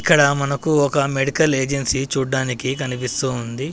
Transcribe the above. ఇక్కడ మనకు ఒక మెడికల్ ఏజెన్సీ చూడ్డానికి కనిపిస్తూ ఉంది.